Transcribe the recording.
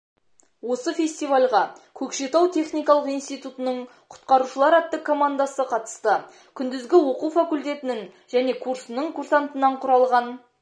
осы фестивальға көкшетау техникалық институтының құтқарушылар атты командасы қатысты күндізгі оқу факультетінің және курсының курсантынан құралған